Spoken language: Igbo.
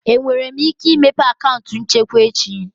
Enwere m ike imepe akaụntụ nchekwa echi?